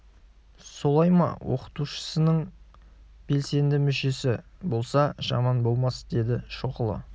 солай ма оқытушысы нің белсенді мүшесі болса жаман болмас деді шоқұлы